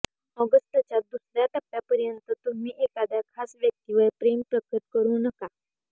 ऑगस्टच्या दुसर्या टप्प्यापर्यंत तुम्ही एखाद्या खास व्यक्तीवर प्रेम प्रकट करू नका